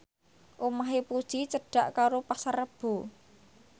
omahe Puji cedhak karo Pasar Rebo